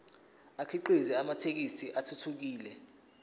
akhiqize amathekisthi athuthukile